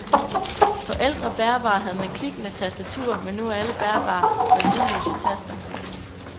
På ældre bærbare havde man klikkende tastaturer, men nu er alle bærbare med lydløse taster.